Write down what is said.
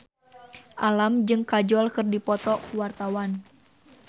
Alam jeung Kajol keur dipoto ku wartawan